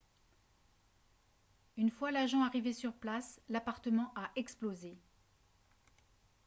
une fois l'agent arrivé sur place l'appartement a explosé